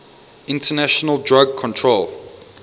international drug control